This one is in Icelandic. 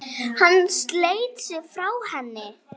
Hann sleit sig frá henni.